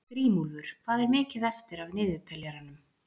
Grímúlfur, hvað er mikið eftir af niðurteljaranum?